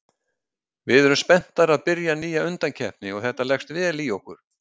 Við erum spenntar að byrja nýja undankeppni og þetta leggst vel í okkur